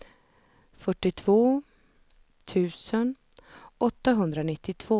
fyrtiotvå tusen åttahundranittiotvå